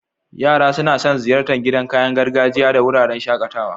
Yara suna son ziyartar gidan kayan gargajiya da wuraren shakatawa.